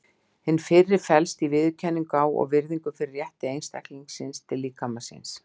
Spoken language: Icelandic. Hin fyrri felst í viðurkenningu á og virðingu fyrir rétti einstaklingsins til líkama síns.